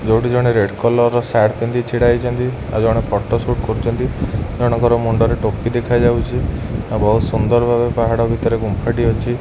ଯୋଉଠି ଜଣେ red collar ର ସାର୍ଟ ପିନ୍ଧି ଛିଡ଼ା ହେଇଚନ୍ତି ଆଉ ଜଣେ ଫଟୋ ସୁଟ କରୁଚନ୍ତି ଜଣଙ୍କର ମୁଣ୍ଡ ରେ ଟୋପି ଦେଖାଯାଉଚି ଆଉ ବହୁତ ସୁନ୍ଦର ଭାବରେ ପାହାଡ଼ ଭିତରେ ଗୁମ୍ଫା ଟି ଅଛି।